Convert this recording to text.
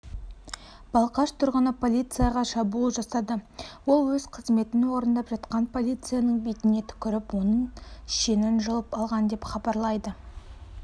балқаш тұрғыны полицияға шабуыл жасады ол өз қызметін орындап жатқан полицияның бетіне түкіріп оның шенін жұлып алған деп хабарлайды